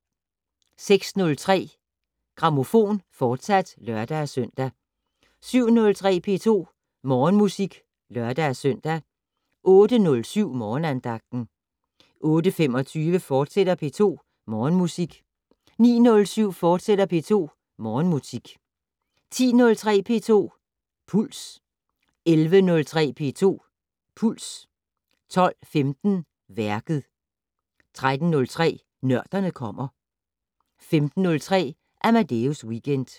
06:03: Grammofon, fortsat (lør-søn) 07:03: P2 Morgenmusik (lør-søn) 08:07: Morgenandagten 08:25: P2 Morgenmusik, fortsat 09:07: P2 Morgenmusik, fortsat 10:03: P2 Puls 11:03: P2 Puls 12:15: Værket 13:03: Nørderne kommer 15:03: Amadeus Weekend